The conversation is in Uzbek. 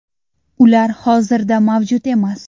Ular hozirda mavjud emas.